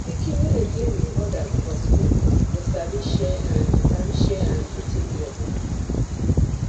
pikin wey dey play with others for school go sabi share and sabi share and do teamwork